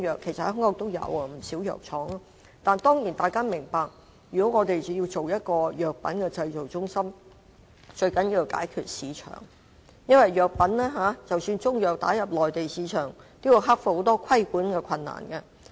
其實香港也有不少藥廠，但當然大家要明白，如果我們要成立一間藥品製造中心，最重要的是解決市場問題，因為即使希望把中藥打入內地市場，也要克服很多規管的困難。